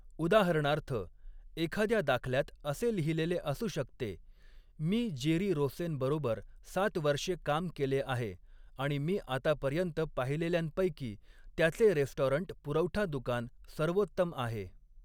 उदाहरणार्थ, एखाद्या दाखल्यात असे लिहिलेले असू शकते, 'मी जेरी रोसेनबरोबर सात वर्षे काम केले आहे आणि मी आतापर्यंत पाहिलेल्यांपैकी त्याचे रेस्टॉरंट पुरवठा दुकान सर्वोत्तम आहे!